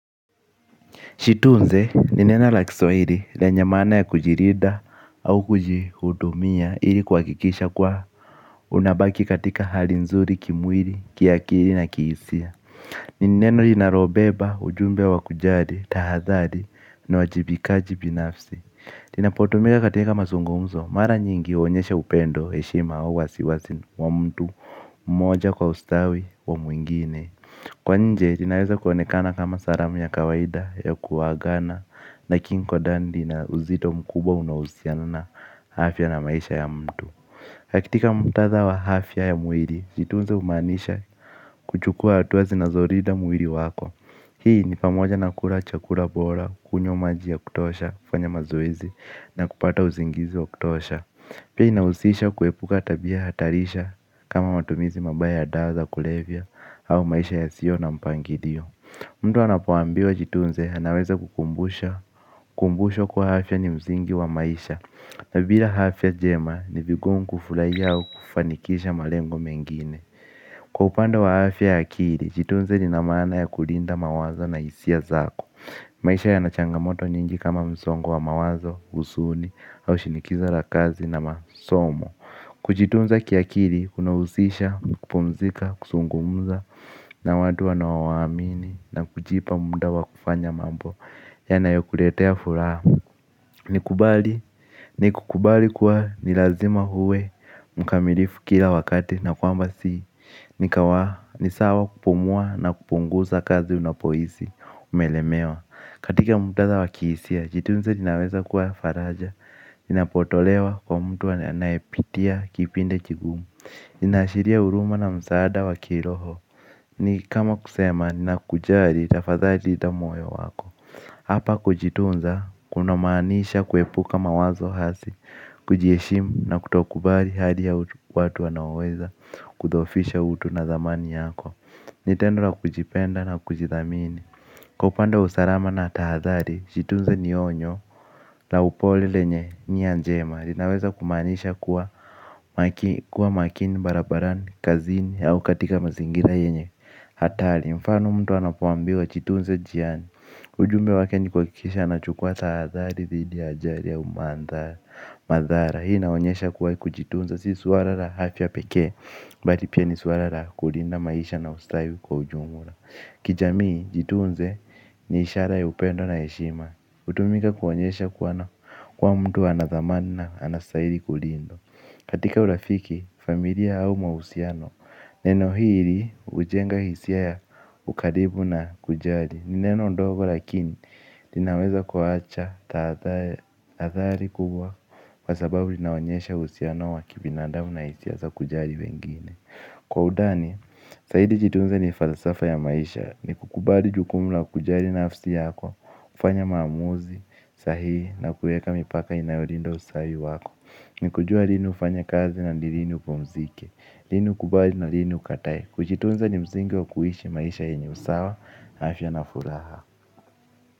Jitunze ni neno la kiswahili lenye maana ya kujilinda au kujihudumia ili kuhakikisha kuwa unabaki katika hali nzuri, kimwili, kiakili na kihisia. Ni neno linalo beba ujumbe wa kujali, tahadhari, ni uwajibikaji binafsi. Inapotumika katika mazungumzo, mara nyingi huonyesha upendo, heshima au wasiwasi wa mtu. Mmoja kwa ustawi wa mwengine. Kwa nje, linaweza kuonekana kama salamu ya kawaida ya kuagana lakini kwa ndani lina uzito mkubwa unahusiana na afya na maisha ya mtu kakitika muktadha wa afya ya mwili, jitunze humanisha kuchukua hatua zinazolinda mwili wako. Hii ni pamoja na kula chakula bora, kunywa maji ya kutosha, kufanya mazoezi na kupata uzingizi wa kutosha. Pia inahusisha kuepuka tabia hatarisha kama matumizi mabaya ya dawa za kulevya au maisha yasio na mpangilio. Mtu anapoambiwa jitunze anaweza kukumbusha kumbushwa kuwa afya ni msingi wa maisha. Na bila afya njema ni vigumu kufurahia au kufanikisha malengo mengine. Kwa upande wa afya ya akili jitunze lina maana ya kulinda mawazo na hisia zako. Maisha yana changamoto nyingi kama msongo wa mawazo, huzuni, au shinikizo la kazi na masomo. Kujitunza kiakili, kunahusisha, kupumzika, kuzungumza, na watu wanao waamini. Na kujipa muda wa kufanya mambo, yanayo kuletea furaha. Nikubali, nikukubali kuwa nilazima uwe, mkamilifu kila wakati na kwamba si nikawa, nisawa kupumua na kupunguza kazi unapohisi, umelemewa. Katika muktadha wa kihisia, jitunze linaweza kuwa faraja linapotolewa kwa mtu anaye pitia kipindi kigumu lina ashiria huruma na msaada wa kiroho. Ni kama kusema, nakujali, tafadhali linda moyo wako. Hapa kujitunza, kunamaanisha kuepuka mawazo hasi. Kujiheshimu na kutokubali hali ya watu wanaoweza kudhoofisha utu na thamani yako. Nitendo la kujipenda na kujithamini. Kwa upande usalama na tahadhari, jitunze ni onyo, la upole lenye nia njema. Iinaweza kumaanisha kuwa makini, barabarani, kazini, au katika mazingira yenye hatari, mfano mtu anapo ambiwa jitunze njiani. Ujumbe wake ni kuhakikisha anachukuwa tahadhari, tahadhari dhidi ya ajali au madhara. Hii inaonyesha kuwa kujitunza, si suala la afya pekee. Bali pia ni suala la kulinda maisha na ustawi kwa ujumla. Kijamii, jitunze ni ishara ya upendo na heshima hutumika kuonyesha kuwa mtu ana thamani na anastahili kulindwa. Katika urafiki, familia au mahusiano neno hili hujenga hisia ya ukaribu na kujali. Ni neno ndogo lakini, linaweza kuacha hatari kubwa. Kwa sababu, linaonyesha uhusiano wa kibinandamu na hisia za kujali wengine. Kwa udani, zaidi jitunze ni falsafa ya maisha. Ni kukubali jukumu la kujali nafsi yako, kufanya maamuzi, sahihi, na kueka mipaka inayolinda ustawi wako. Ni kujua lini ufanye kazi na ni lini upumzike, lini ukubali na lini ukatae. Kujitunza ni msingi wa kuishi maisha yenye usawa afya na furaha.